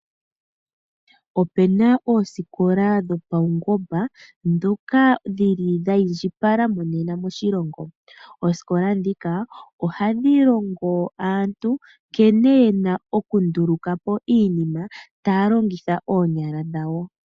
Opu na oosikola dhopaungomba ndhoka dhiindjipala monena moshilongo. Oosikola ndhika ohadhi longo aantu nkene ye na okunduluka po iinima taya longitha oonyala dhawo.